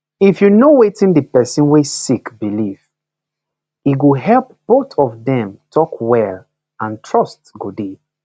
if u know wetin the person wey sick believe e go help both of dem talk well and trust go dey